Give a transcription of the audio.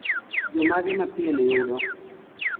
jomage mapien yudo